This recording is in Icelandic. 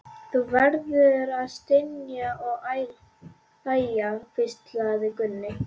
Þú verður að stynja og æja, hvíslaði Gunni.